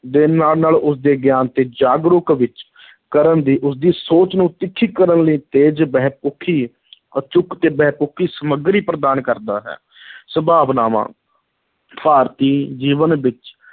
ਦੇ ਨਾਲ-ਨਾਲ ਉਸਦੇ ਗਿਆਨ ਅਤੇ ਜਾਗਰੂਕ ਵਿੱਚ ਕਰਨ ਦੀ ਉਸਦੀ ਸੋਚ ਨੂੰ ਤਿੱਖੀ ਕਰਨ ਲਈ ਤੇਜ਼, ਬਹੁਪੱਖੀ ਅਚੂਕ ਤੇ ਬਹੁਪੱਖੀ ਸਾਮਗਰੀ ਪ੍ਰਦਾਨ ਕਰਦਾ ਹੈ ਸੰਭਾਵਨਾਵਾਂ, ਭਾਰਤੀ ਜੀਵਨ ਵਿੱਚ